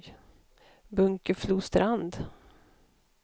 Bunkeflostrand